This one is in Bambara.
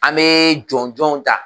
An bɛ jɔnjnw ta.